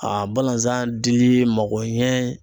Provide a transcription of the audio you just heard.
A balazan dili mago ɲɛ